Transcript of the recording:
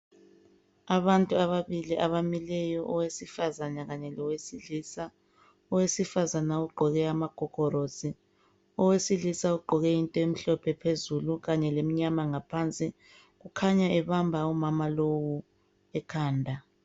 abantu ababili abamileyo owesifazana kanye lowesilisa owesifazana ugqok amagogorosi owesilisa ugqoke okumhlophe phezulu kanye lemnyama ngaphansi kukhanya ebamba umama lowu ekhanda